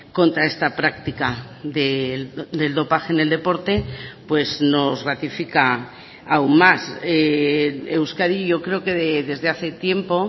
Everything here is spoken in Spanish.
contra esta práctica del dopaje en el deporte pues nos ratifica aún más euskadi yo creo que desde hace tiempo